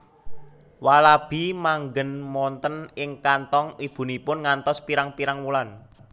Walabi manggen wonten ing kanthong ibunipun ngantos pirang pirang wulan